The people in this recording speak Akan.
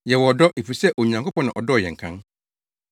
Yɛwɔ ɔdɔ, efisɛ Onyankopɔn na ɔdɔɔ yɛn kan.